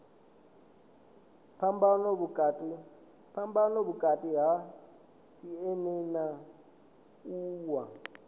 phambano vhukati ha cma na wua